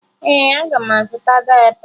Ee, aga m azụta dayịpa